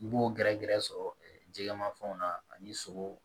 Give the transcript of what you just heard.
I b'o gɛrɛgɛrɛ sɔrɔ jɛgɛma fɛnw na ani sogo